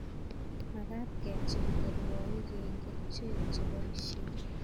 Makat kechikili ruaik eng' kerchek cheboisie.